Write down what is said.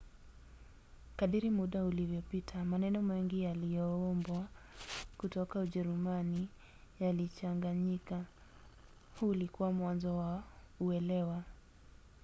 kadiri muda ulivyopita maneno mengi yaliyoombwa kutoka ujerumani yalichanganyika. huu ulikuwa mwanzo wa uelewa